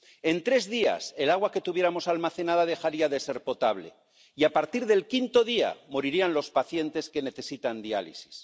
en tres días, el agua que tuviéramos almacenada dejaría de ser potable y, a partir del quinto día, morirían los pacientes que necesitan diálisis.